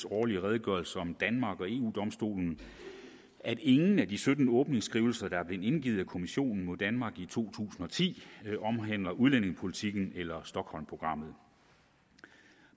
årlige redegørelse om danmark og eu domstolen at ingen af de sytten åbningsskrivelser der er blevet indgivet af kommissionen mod danmark i to tusind og ti omhandler udlændingepolitikken eller stockholmprogrammet